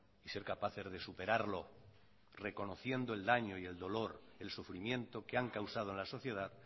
y ser capaces de superarlo reconociendo el daño y el dolor el sufrimiento que han causado en la sociedad